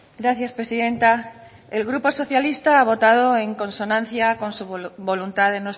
gracias presidenta el grupo socialista ha votado en consonancia con su voluntad de